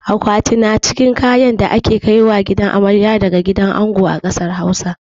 Akwati na cikin kayan da ake kaiwa gidan amarya daga gidan ango a ƙasar Hausa.